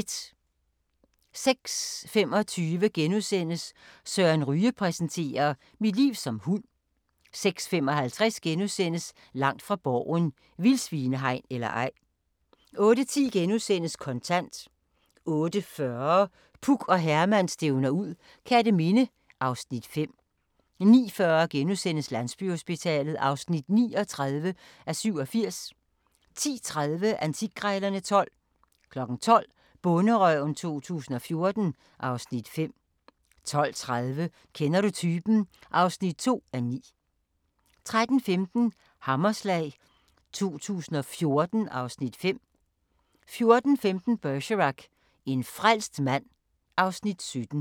06:25: Søren Ryge præsenterer: "Mit liv som hund" 06:55: Langt fra Borgen: Vildsvinehegn eller ej? * 08:10: Kontant * 08:40: Puk og Herman stævner ud - Kerteminde (Afs. 5) 09:40: Landsbyhospitalet (39:87)* 10:30: Antikkrejlerne XII 12:00: Bonderøven 2014 (Afs. 5) 12:30: Kender du typen? (2:9) 13:15: Hammerslag 2014 (Afs. 5) 14:15: Bergerac: En frelst mand (Afs. 17)